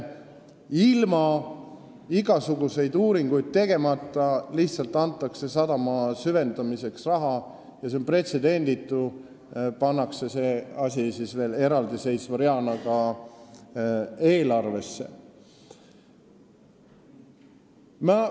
Ilma igasuguseid uuringuid tegemata antakse sadama süvendamiseks raha ja on pretsedenditu, et see pannakse eraldiseisva reana ka eelarvesse.